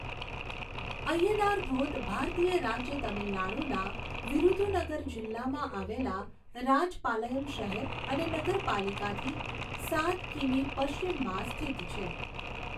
અય્યનાર ધોધ ભારતીય રાજ્ય તમિલનાડુના વિરુધુનગર જિલ્લામાં આવેલા રાજપાલયમ શહેર અને નગરપાલિકાથી સાત કિમી પશ્ચિમમાં સ્થિત છે.